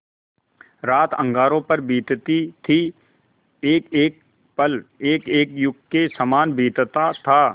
रात अंगारों पर बीतती थी एकएक पल एकएक युग के सामान बीतता था